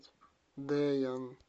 дэян